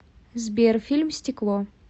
сбер фильм стекло